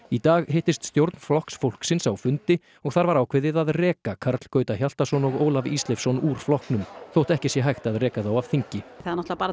í dag hittist stjórn Flokks fólksins á fundi og þar var ákveðið að reka Karl Gauta Hjaltason og Ólaf Ísleifsson úr flokknum þótt ekki sé hægt að reka þá af þingi það er